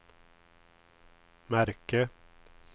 märke